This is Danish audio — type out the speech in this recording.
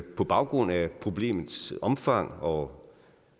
på baggrund af problemets omfang og